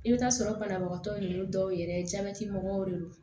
I bɛ t'a sɔrɔ banabagatɔ ninnu dɔw yɛrɛ jabɛti mɔgɔw de don